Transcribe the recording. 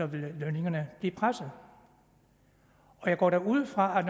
vil lønningerne blive presset jeg går da ud fra at